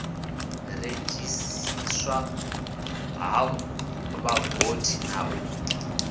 redzhisiariswa ha vhavothi na u